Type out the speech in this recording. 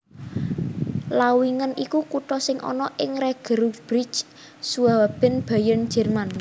Lauingen iku kutha sing ana ing Regierungsbezirk Schwaben Bayern Jerman